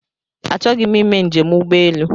Achọghị m ime njem ụgbọelu